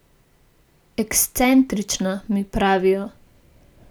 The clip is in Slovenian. Ekscentrična, mi pravijo.